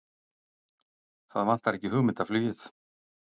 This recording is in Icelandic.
Það vantar ekki hugmyndaflugið!